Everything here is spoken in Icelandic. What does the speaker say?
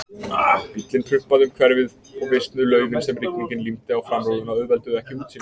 Bíllinn prumpaði um hverfið- og visnuð laufin sem rigningin límdi á framrúðuna auðvelduðu ekki útsýnið.